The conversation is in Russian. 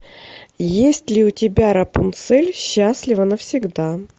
есть ли у тебя рапунцель счастлива навсегда